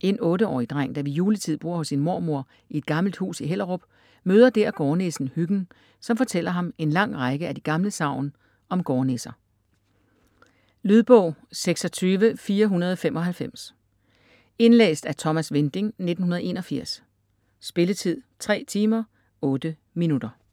En 8-årig dreng, der ved juletid bor hos sin mormor i et gammelt hus i Hellerup, møder dèr gårdnissen Hyggen, som fortæller ham en lang række af de gamle sagn om gårdnisser. Lydbog 26495 Indlæst af Thomas Winding, 1981. Spilletid: 3 timer, 8 minutter.